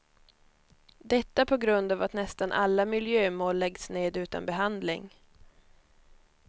Detta på grund av att nästan alla miljömål läggs ned utan behandling.